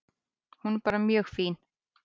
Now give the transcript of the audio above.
Hún er bara mjög fín.